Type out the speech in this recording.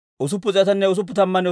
Hashuuma yaratuu 223.